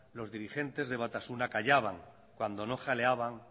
los diligentes de batasuna callaban cuando no jaleaban